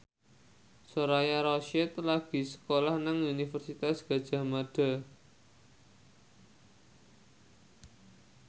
Soraya Rasyid lagi sekolah nang Universitas Gadjah Mada